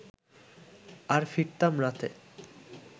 আর ফিরতাম রাতে